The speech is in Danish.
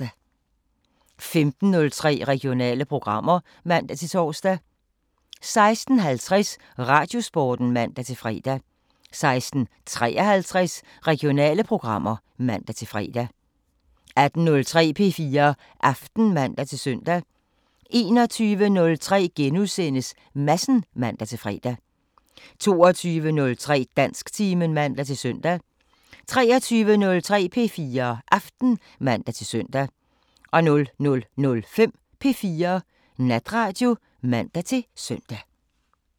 15:03: Regionale programmer (man-tor) 16:50: Radiosporten (man-fre) 16:53: Regionale programmer (man-fre) 18:03: P4 Aften (man-søn) 21:03: Madsen *(man-fre) 22:03: Dansktimen (man-søn) 23:03: P4 Aften (man-søn) 00:05: P4 Natradio (man-søn)